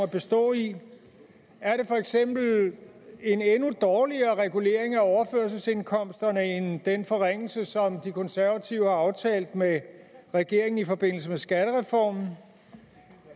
bestå i er det for eksempel en endnu dårligere regulering af overførselsindkomsterne end den forringelse som de konservative har aftalt med regeringen i forbindelse med skattereformen